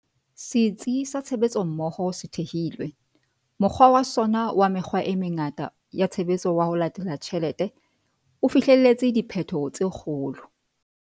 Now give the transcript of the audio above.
Setsi sa Tshebetsommoho se thehilwe, mokgwa wa sona wa mekgwa e mengata ya tshebetso wa 'ho latela tjhelete' o fihleletse diphetho tse kgolo.